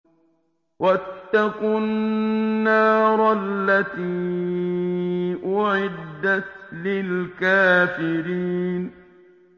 وَاتَّقُوا النَّارَ الَّتِي أُعِدَّتْ لِلْكَافِرِينَ